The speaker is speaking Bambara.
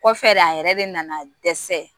Kɔfɛ de a yɛrɛ de nana dɛsɛ